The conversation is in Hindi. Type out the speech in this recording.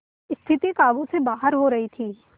स्थिति काबू से बाहर हो रही थी